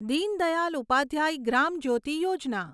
Deen Dayal Upadhyay Gram Jyoti Yojana